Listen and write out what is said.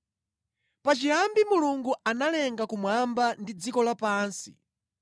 Pachiyambi Mulungu analenga kumwamba ndi dziko lapansi.